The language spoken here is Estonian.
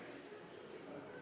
Aitäh!